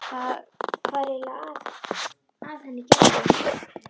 Hvað er eiginlega að henni Gerði.